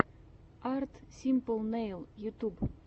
арт симпл нэйл ютуб